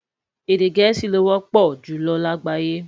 Èdè gèésì ló wọpọ julọ lágbayé